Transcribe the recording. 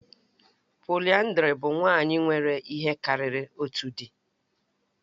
Pòliyandrì bụ nwanyị nwere ihe karịrị otu di